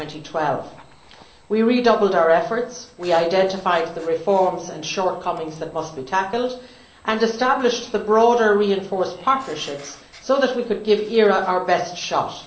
2012. We redoubled our efforts, identified the reforms and shortcomings that must be tackled and established the broader reinforced partnerships so that we could give ERA our best shot.